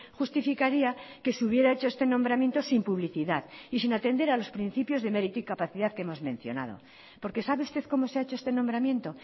justificaría que se hubiera hecho este nombramiento sin publicidad y sin atender a los principios de mérito y capacidad que hemos mencionado porque sabe usted cómo se ha hecho este nombramiento